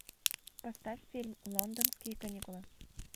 поставь фильм лондонские каникулы